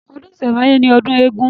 Ọdún ìsẹ̀ǹbáyé ni ọdún eégún